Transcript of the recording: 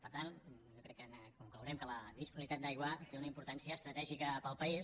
per tant jo crec que conclourem que la disponibilitat d’aigua té una importància estratègica per al país